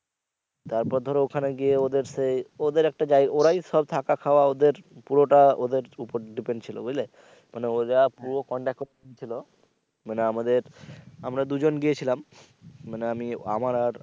তারপর ধরো ওখানে গিয়ে ওদের সেই ওদের একটা জায়গা ওরাই সব থাকা খাওয়া ওদের পুরোটা ওদের উপর depend বুঝলে মানে ওরা পুরো contact করে ছিলো মানে আমাদের আমরা দুজন গিয়েছিলাম মানে আমি আমার আর